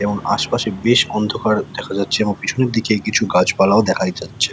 এবং আশপাশে বেশ অন্ধকার দেখা যাচ্ছে এবং পিছনের দিকে কিছু গাছপালাও দেখাই যাচ্ছে।